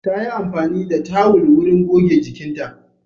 Ta yi amfani da tawul wurin goge jikinta.